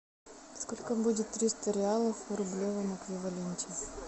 сколько будет триста реалов в рублевом эквиваленте